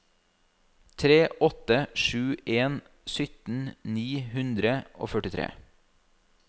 tre åtte sju en sytten ni hundre og førtitre